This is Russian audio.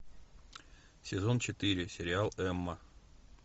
сезон четыре сериал эмма